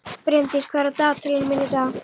Brimdís, hvað er á dagatalinu mínu í dag?